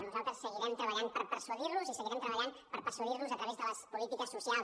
nosaltres seguirem treballant per persuadir los i seguirem treballant per persuadir los a través de les polítiques socials